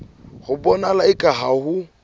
ho bonahala eka ha ho